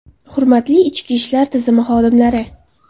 Hurmatli ichki ishlar tizimi xodimlari!